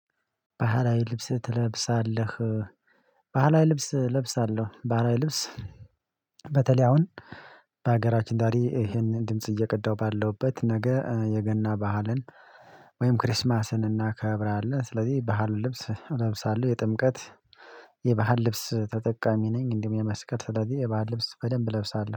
ባህላዊ ልብስ ትለብሳለህ? ባህላዊ ልብስ እለብሳለሁ ባህላዊ ልብስ። በተለይ አሁን በሀገራችን ዛሬ ይሄንን ድምጽ እየቀዳሁ ባለውበት ነገ የገና ባህልን ወይም ክሪስማስን እናከብራለን ስለዚህ ባህል ልብስ እለብሳለሁ። የጥምቀት የባህል ልብስ ተጠቃሚ ነኝ። እንዲህም የመስከር ስለዚህ የባህል ልብስ በደንብ እለብሳለሁ